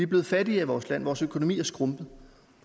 blevet fattigere i vores land vores økonomi er skrumpet